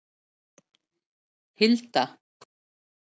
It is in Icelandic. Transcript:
Hilda